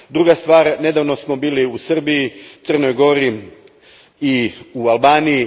Druga stvar, nedavno smo bili u Srbiji, Crnoj Gori i Albaniji.